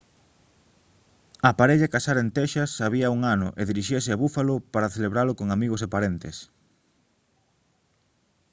a parella casara en texas había un ano e diríxase a buffalo para celebralo con amigos e parentes